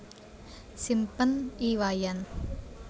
Simpen I Wayan